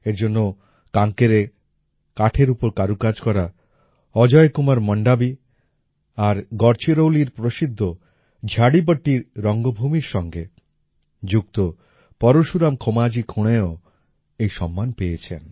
এর জন্য কাঙ্কেরে কাঠের উপর কারুকাজ করা অজয় কুমার মণ্ডাবী আর গড়চিরৌলির প্রসিদ্ধ ঝাডীপট্টী রঙ্গভূমির সঙ্গে যুক্ত পরশুরাম খোমাজী খুণেও এই সম্মান পেয়েছেন